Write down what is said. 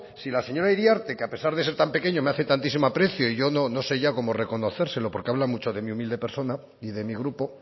si la señora iriarte que a pesar de ser tan pequeño me hace tantísimo aprecio y yo no sé ya cómo reconocérselo porque habla mucho de mi humilde persona y de mi grupo